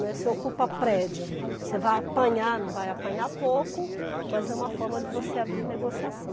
Né, você ocupa prédio, você vai apanhar, não vai apanhar pouco, mas é uma forma de você abrir negociação.